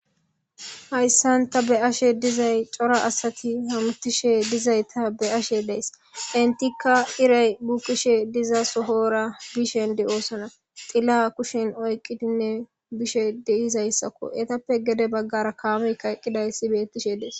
Hayssanta be ashe dizay cora asati hamtishe dizay ta be ashe dees intikka iray bukkishe diza sohoora bishen di oosona xilla kushen oyqqidinne bishe deizayssakko etappe gede baggara kaamey kayqqiday si bettishe dees.